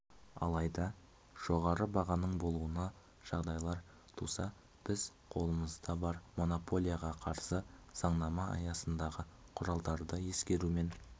алайда жоғары бағаның болуына жағдайлар туса біз қолымызда бар монополияға қарсы заңнама аясындағы құралдарды ескерумен